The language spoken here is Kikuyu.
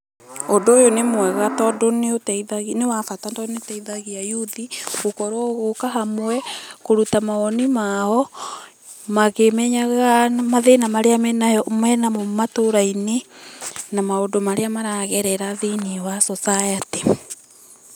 Ũndũ ũyũ nĩ mwega tondũ nĩ ũteithagia nĩ wabata tondũ nĩ ũteithagia youth, gũkorwo gũka hamwe kũruta mawoni mao, makĩmenyaga mathĩna marĩa menayo menamo matũra-inĩ na maũndũ marĩa maragerera thĩiniĩ wa society.